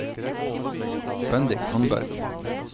Bendik Tandberg